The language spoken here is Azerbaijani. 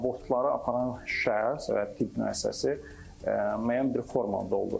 Abortları aparan şəxs və tibb müəssisəsi müəyyən bir forma doldurur.